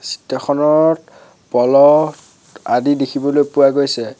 চিত্ৰখনত কলহ আদি দেখিবলৈ পোৱা গৈছে।